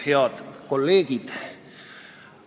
Head kolleegid!